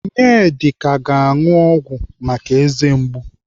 Onyedika ga-anụ ọgwụ eze mgbu.